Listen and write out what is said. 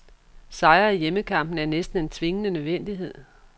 Sejre i hjemmekampene er næsten en tvingende nødvendighed.